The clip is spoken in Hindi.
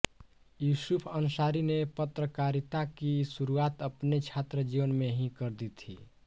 यूसुफ़ अंसारी ने पत्रकारिता की शुरुआत अपने छात्र जीवन में ही कर दी थी